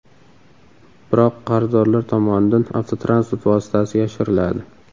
Biroq qarzdorlar tomonidan avtotransport vositasi yashiriladi.